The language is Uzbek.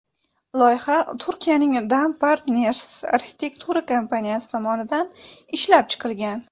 Loyiha Turkiyaning Dome+Partners arxitektura kompaniyasi tomonidan ishlab chiqilgan.